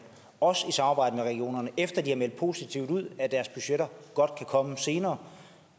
også i samarbejde med regionerne efter at de har meldt positivt ud at deres budgetter godt kan komme senere